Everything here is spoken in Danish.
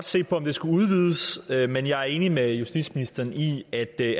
se på om det skulle udvides men jeg er enig med justitsministeren i at det